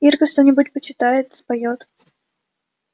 ирка что-нибудь почитает споёт